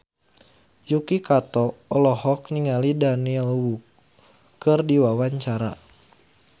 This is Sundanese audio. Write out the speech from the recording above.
Yuki Kato olohok ningali Daniel Wu keur diwawancara